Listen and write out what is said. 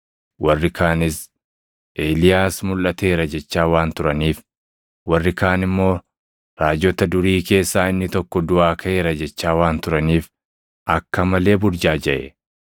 warri kaanis Eeliyaas mulʼateera jechaa waan turaniif, warri kaan immoo raajota durii keessaa inni tokko duʼaa kaʼeera jechaa waan turaniif akka malee burjaajaʼe.